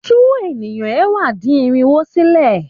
Tú ènìyàn ẹ̀wá-dín-irinwo sílẹ̀.